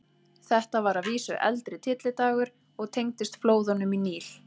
Þetta var að vísu eldri tyllidagur og tengdist flóðunum í Níl.